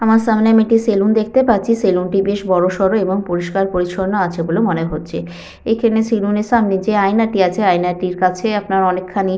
আমার সামনে একটি স্যালুন দেখতে পাচ্ছি। স্যালুন -টি বেশ বড় সড় এবং পরিষ্কার পরিচ্ছন্ন আছে বলে মনে হচ্ছে। এখানে স্যালুন -এর সামনে যে আয়নাটি আছে আয়না টির কাছে আপনার অনেক খানি--